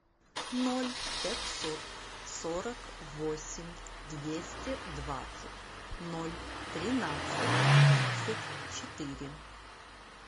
ноль пятьсот сорок восемь двести двадцать ноль тринадцать тридцать четыре